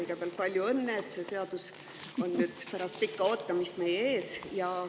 Kõigepealt palju õnne, et see seadus on nüüd pärast pikka ootamist meie ees!